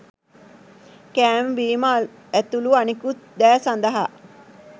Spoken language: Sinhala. කෑම බීම ඇතුළු අනිකුත් දෑ සඳහා